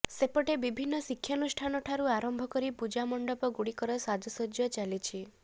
ସେପଟେ ବିଭିନ୍ନ ଶିକ୍ଷାନୁଷ୍ଠାନ ଠାରୁ ଆରମ୍ଭ କରି ପୂଜା ମଣ୍ଡପ ଗୁଡିକରେ ସାଜସଜ୍କା ଚାଲିଛି